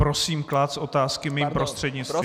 Prosím klást otázky mým prostřednictvím.